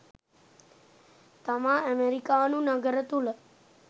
තමා අමෙරිකානු නගර තුළ